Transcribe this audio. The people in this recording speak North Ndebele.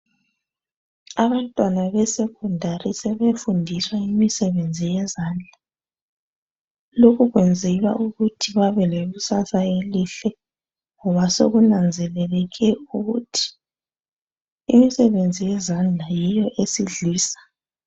Abantwana be 'secondary' sebefundiswa imisebenzi yezandla. Lokho kwenzelwa ukuthi babe lekusasa elihle ngoba sokunanzeleleke ukuthi imisebenzi yezandla yiyo esidlisa.